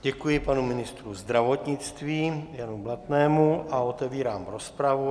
Děkuji panu ministrovi zdravotnictví Janu Blatnému a otevírám rozpravu.